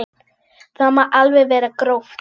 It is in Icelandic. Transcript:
Það má alveg vera gróft.